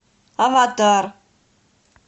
аватар